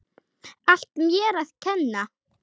Allt mér að kenna.